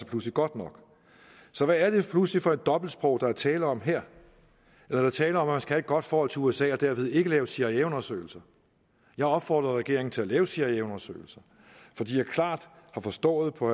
pludselig godt nok så hvad er det pludselig for et dobbeltsprog der er tale om her er der tale om at have et godt forhold til usa og dermed ikke lave cia undersøgelser jeg opfordrede regeringen til at lave cia undersøgelser fordi jeg klart forstod på